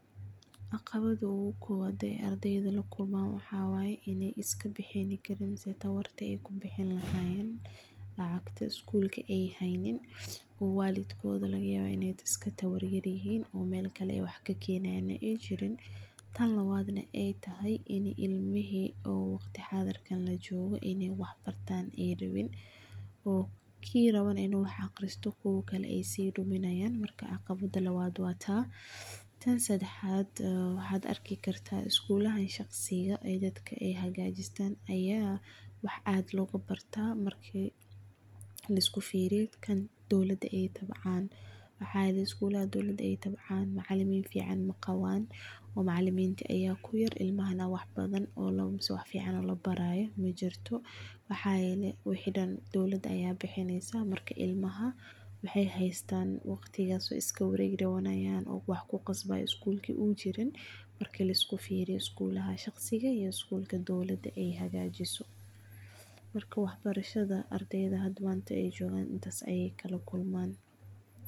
Caqabada ogu kowad ee ardeyda lakulman waxa wayee in ayiskabihini karin mise tawarta kubihini lahayen lacagta school ay haynin, oo walidgoda lgayawaa inay iskatawar yaryin oo medakale hadhi ay jirin ay tahay ini ilmihi oo wagti hadhirkan lajogo inay wah bartan ay rawin, oo kii rawo na inu wah agristo kuwa kale ay siduminayan, marka caqawada lawad wa taa, tan sadahat wahad arkikarta skuladi shagsika ay dadka hagajistaan aya wah aad logabarta marki liskufiriyo kan dowlada ay tabcan, waxa yele skulada dowlada ay tabcan macalimin fican maqawan oo macaliminta aya kuyar ilmahana badan oo wax labarayo majirto, mahayele wixi daan dowlada aya bihineysa marka ilmaha maxay xaystan wagtikas way iskawareganayan oo wax kuqasbayo skulka uu jirin, marka liskufiriyo skulaha shaqsika iyo skulka dowlada aya hagajiso, marka wax barashada ardeyda hata manta jogan intas ay kalakulman.